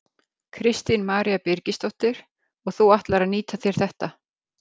Kristín María Birgisdóttir: Og þú ætlar að nýta þér þetta?